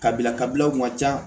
Kabila kabilaw kun ka ca